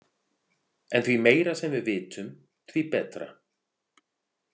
En því meira sem við vitum, því betra.